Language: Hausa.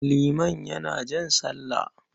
Liman yana jan sallah.